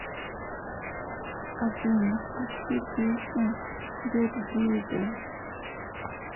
афина включи песню дердидас